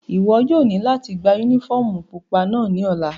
Iwọ yóò ni lati gba unifọmú pupa náa ni ọla!